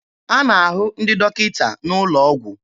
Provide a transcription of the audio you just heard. A na-ahụ ndị dọkịta n'ụlọ ọgwụ.